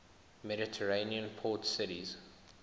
mediterranean port cities